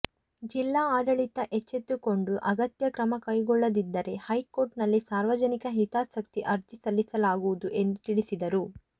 ಜಿಲ್ಲಾ ಆಡಳಿತ ಎಚ್ಚೆತ್ತುಕೊಂಡು ಅಗತ್ಯ ಕ್ರಮ ಕೈಗೊಳ್ಳದಿದ್ದರೆ ಹೈಕೋರ್ಟ್ನಲ್ಲಿ ಸಾರ್ವಜನಿಕ ಹಿತಾಸಕ್ತಿ ಅರ್ಜಿ ಸಲ್ಲಿಸಲಾಗುವುದು ಎಂದು ತಿಳಿಸಿದರು